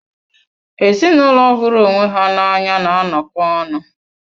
Ezinụlọ hụrụ onwe ha na anya na-anọkọ ọnụ.